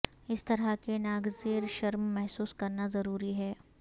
اس طرح کی ناگزیر شرم محسوس کرنا ضروری ہے